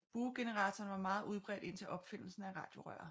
Buegeneratoren var meget udbredt indtil opfindelsen af radiorøret